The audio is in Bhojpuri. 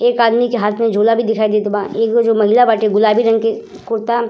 एक आदमी के हाथ में झोला भी दिखाई देत बा। एगो जो महिला बाटे गुलाबी रंग के कुर्ता --